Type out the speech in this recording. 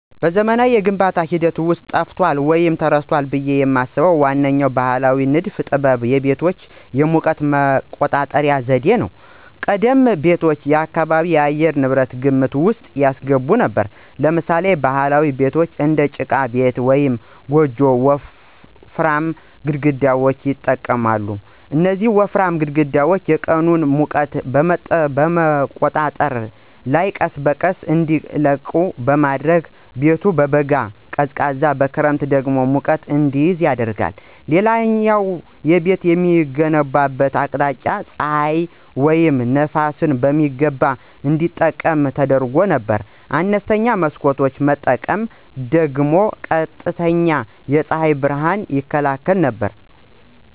በዘመናዊው የግንባታ ሂደት ውስጥ ጠፍቷል ወይም ተረስቷል ብዬ የማስበው ዋነኛው ባሕላዊ ንድፍ ጥበብ የቤቶች የሙቀት መቆጣጠሪያ ዘዴ ነው። ቀደምት ቤቶች የአካባቢን የአየር ንብረት ግምት ውስጥ ያስገቡ ነበሩ። ለምሳሌ ባህላዊ ቤቶች (እንደ ጭቃ ቤት ወይም ጎጆ) ወፍራም ግድግዳዎችን ይጠቀማሉ። እነዚህ ወፍራም ግድግዳዎች የቀኑን ሙቀት በመምጠጥ ማታ ላይ ቀስ በቀስ እንዲለቁ በማድረግ ቤቱ በበጋ ቀዝቃዛ በክረምት ደግሞ ሙቀት እንዲይዝ ያደርጋሉ። ሌላው ቤቶች የሚገነቡበት አቅጣጫ ፀሐይን ወይም ነፋስን በሚገባ እንዲጠቀም ተደርጎ ነበር። አነስተኛ መስኮት መጠቀም ደግሞ ቀጥተኛ የፀሐይ ብርሃንን ይከላከል ነበር።